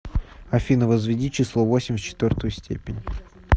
афина возведи число восемь в четвертую степень